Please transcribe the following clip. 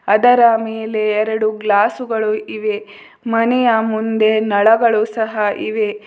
ಅದರ ಮೇಲೆ ಎರಡು ಗ್ಲಾಸುಗಳು ಇವೆ ಮನೆಯ ಮುಂದೆ ನಳಗಳು ಸಹ ಇವೆ.